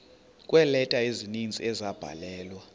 kweeleta ezininzi ezabhalelwa